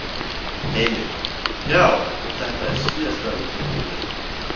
Heimir: Já, og þetta er síðasta undankomuleiðin?